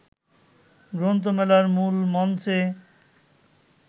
গ্রন্থমেলার মূল মঞ্চে